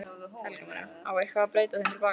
Helga María: Á eitthvað að breyta þeim til baka?